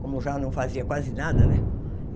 como já não fazia quase nada, né?